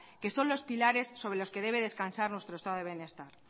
que son los pilares sobre los que debe descansar nuestro estado de bienestar